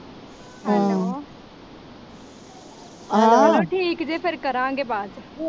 hello ਚਲੋ ਠੀਕ ਜੇ ਕਰਾਂਗੇ ਫਿਰ ਬਾਅਦ ਚ